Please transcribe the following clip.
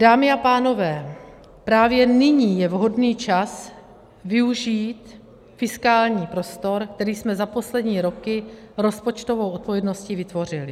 Dámy a pánové, právě nyní je vhodný čas využít fiskální prostor, který jsme za poslední roky rozpočtovou odpovědností vytvořili.